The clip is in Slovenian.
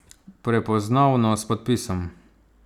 Prepoznavno, s podpisom!